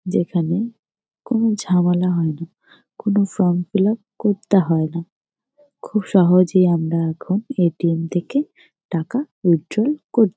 যেইখানে কোন ঝামেলা হয় না। কোনো ফ্রম ফিল আপ করতে হয় না। খুব সহজে আমরা এখন এ.টি.এম. থাকে টাকা উইথড্রয়াল কর--